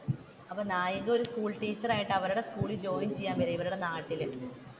അപ്പൊ നായിക ഒരു സ്കൂൾ ടീച്ചറായിട്ട് അവരുടെ സ്കൂളിൽ ജോയിൻ ചെയ്യാൻ വരുകയാണ് ഇവരുടെ നാട്ടിൽ